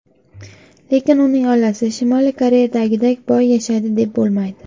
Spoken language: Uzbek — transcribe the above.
Lekin uning oilasi Shimoliy Koreyadagidek boy yashaydi, deb bo‘lmaydi.